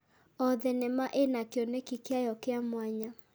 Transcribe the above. O thenema ĩna kĩoneki kĩayo kĩa mwanya.